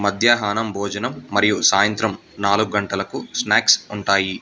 మధ్యాహ్నం భోజనం మరియు సాయంత్రం నాలుగు గంటలకు స్నాక్స్ ఉంటాయి.